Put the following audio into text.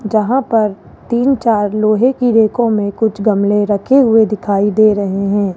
जहां पर तीन चार लोहे की रेकों में कुछ गमले रखे हुए दिखाई दे रहे हैं।